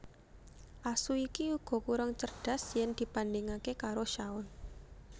Asu iki uga kurang cerdas yen dibandhingake karo shaun